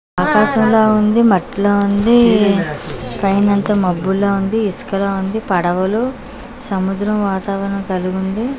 ఆకాశంలా ఉంది మట్లా ఉంది పైనంత మబ్బులా ఉంది ఇసుకలా ఉంది పడవలు సముద్రం వాతావణం కలిగుంది.